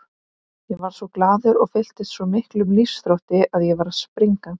Ég varð svo glaður og fylltist svo miklum lífsþrótti að ég var að springa.